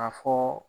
A fɔ